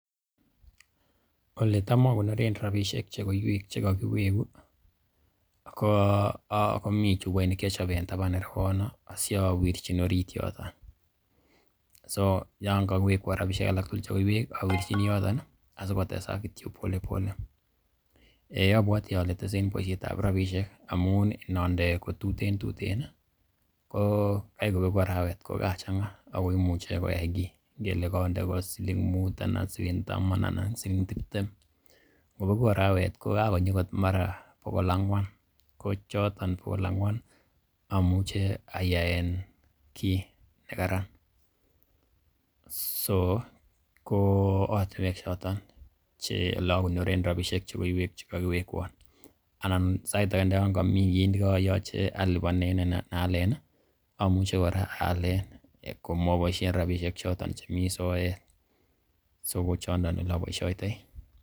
Ole tam o koneren rabishek che koiywek che kogiwegu komi chupoit ne kiachob en taban irewono asiwerchin orit yoto. So yon kogiwekwon rabishek alak tugul che koiywek awirchini yoto asikotesak kityo pole pole . Eiy abwati ole tese en boisietab rabishek amun nonde kotuten tuten ii, ko kai kobegu arawet ko kachang'a ago imuche koyai kiy. Ngele konde ko siling mut, anan siling taman, anan siling tibtem kobegu arawet ko kagonyi agot mara bogol angwan. Ko choton bogol angwan amuche ayaen kiy nekaran. So ko ortinwek choton ele okonoren rabishek che koiywek che kogiwekwon. Anan sait age ndo yon komi kiy ne koyoche alipanen ana alen ii, amuche kora aalen komaboishen rabishek choton chemi soet, so ko chondon ole oboisiotoi .